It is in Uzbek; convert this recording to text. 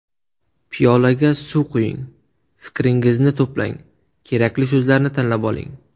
Piyolaga suv quying, fikringizni to‘plang, kerakli so‘zlarni tanlab oling.